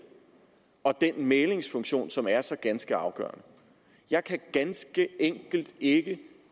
og den mæglingsfunktion som er så ganske afgørende jeg kan ganske enkelt ikke